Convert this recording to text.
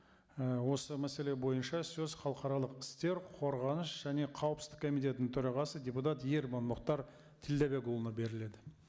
і осы мәселе бойынша сөз халықаралық істер қорғаныс және қауіпсіздік комитетінің төрағасы депутат ерман мұхтар тілдәбекұлына беріледі